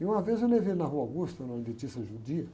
E uma vez eu levei ele na Rua Augusta, uma dentista judia.